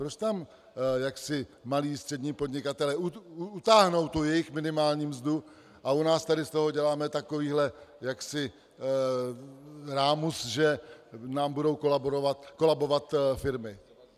Proč tam malí, střední podnikatelé utáhnou tu jejich minimální mzdu a u nás tady z toho děláme takový rámus, že nám budou kolabovat firmy?